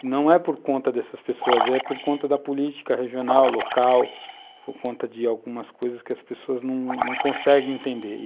Não é por conta dessas pessoas, é por conta da política regional, local, por conta de algumas coisas que as pessoas não conseguem entender.